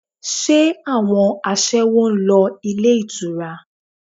Ṣé àwọn aṣẹ́wó ń lọ ilé ìtura?